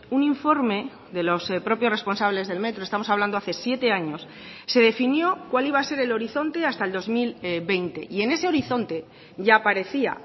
un informe de los propios responsables del metro estamos hablando hace siete años se definió cuál iba a ser el horizonte hasta el dos mil veinte y en ese horizonte ya aparecía